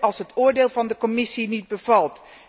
als het oordeel van de Commissie niet bevalt